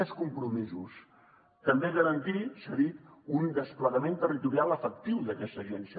més compromisos també garantir s’ha dit un desplegament territorial efectiu d’aquesta agència